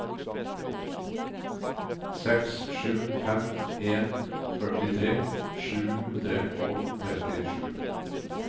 seks sju fem en førtitre sju hundre og trettisju